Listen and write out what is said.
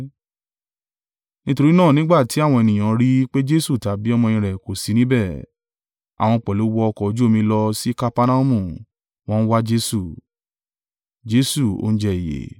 Nítorí náà nígbà tí àwọn ènìyàn rí i pé Jesu tàbí ọmọ-ẹ̀yìn rẹ̀ kò sí níbẹ̀, àwọn pẹ̀lú wọ ọkọ̀ ojú omi lọ sí Kapernaumu, wọ́n ń wá Jesu.